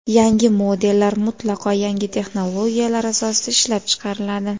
Yangi modellar mutlaqo yangi texnologiyalar asosida ishlab chiqariladi.